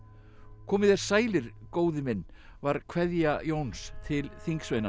komið þér sælir góði minn var kveðja Jóns til